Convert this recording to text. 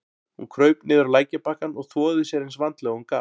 Hún kraup niður á lækjarbakkann og þvoði sér eins vandlega og hún gat.